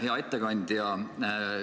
Hea ettekandja!